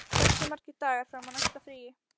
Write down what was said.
Árna, hversu margir dagar fram að næsta fríi?